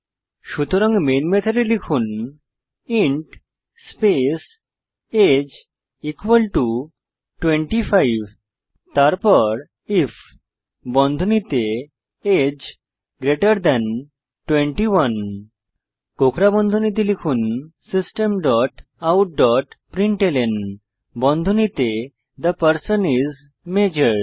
সুতরাং মেন মেথডে লিখুন ইন্ট স্পেস আগে 25 তারপর আইএফ বন্ধনীতে আগে 21 কোঁকড়া বন্ধনীতে লিখুন system dot out dot println বন্ধনীতে থে পারসন আইএস মাজোর